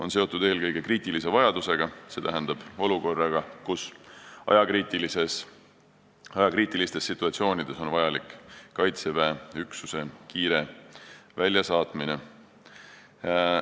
Küsimus on eelkõige seotud kriitilise vajadusega, st ajakriitiliste situatsioonidega, kus on vaja Kaitseväe üksus kiiresti välja saata.